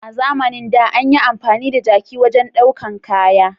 A zamanin da, an yi amfani da jaki wajen daukan kaya.